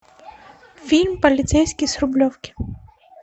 фильм полицейский с рублевки